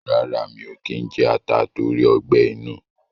rárá, mi ò kí ń jẹ ata tóri ọgbẹ́-inú.